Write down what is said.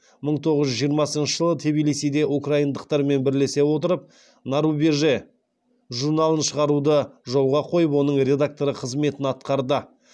мың тоғыз жүз жиырмасыншы жылы тбилисиде украиндықтармен бірлесе отырып на рубеже журналын шығаруды жолға қойып оның редакторы қызметін атқарды